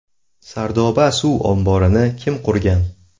Sardoba suv omborini kim qurgan?.